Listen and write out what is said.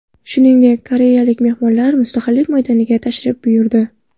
Shuningdek, koreyalik mehmonlar Mustaqillik maydoniga tashrif buyurdi.